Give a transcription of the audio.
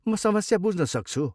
म समस्या बुझ्नसक्छु।